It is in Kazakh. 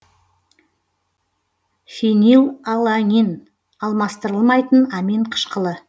фенилаланин алмастырылмайтын амин қышқылы